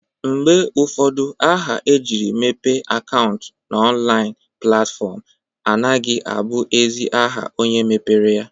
Mgbe ụfọdụ aha e jiere mepe akaụnt n'ọnlaịn platfọm anagha abụ ezi aha onye mepere ya.